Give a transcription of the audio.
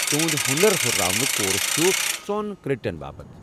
تہنٛد ہُنر ہُرراونُك کورس چھ ژۄن کریڈٹن باپت ۔